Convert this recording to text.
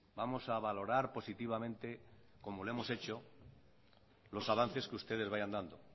vamos a valorar positivamente como lo hemos hecho los avances que ustedes vayan dando